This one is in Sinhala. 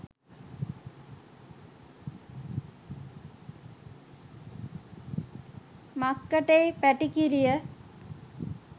මක්කටෙයි පැටිකිරිය?